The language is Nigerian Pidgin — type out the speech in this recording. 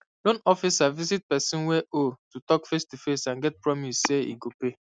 loan officer visit person wey owe to talk facetoface and get promise say e go pay